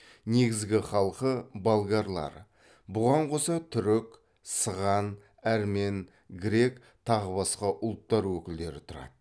негізгі халқы болгарлар бұған қоса түрік сыған әрмен грек тағы басқа ұлттар өкілдері тұрады